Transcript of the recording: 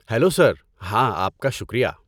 Hello sir! ہاں، آپ کا شکریہ